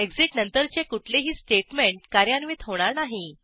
exit नंतरचे कुठलेही statement कार्यान्वित होणार नाही